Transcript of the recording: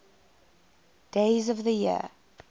days of the year